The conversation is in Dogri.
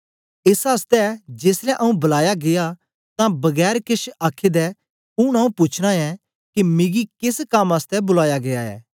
एस आसतै जेसलै आंऊँ बलाया गीया तां बगैर केछ आखे दे चली आया ऊन आंऊँ पूछना ऐं के मिकी केस कम आसतै बुलाया गीया ऐ